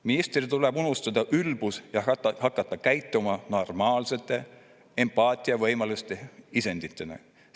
Ministritel tuleb unustada ülbus ja hakata käituma normaalsete empaatiavõimeliste isenditena.